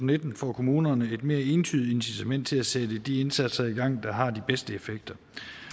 nitten får kommunerne et mere entydig incitament til at sætte de indsatser i gang der har de bedste effekter